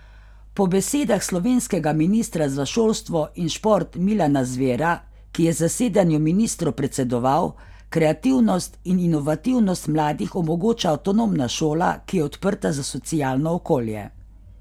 Po besedah slovenskega ministra za šolstvo in šport Milana Zvera, ki je zasedanju ministrov predsedoval, kreativnost in inovativnost mladih omogoča avtonomna šola, ki je odprta za socialno okolje.